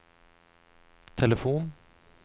telefon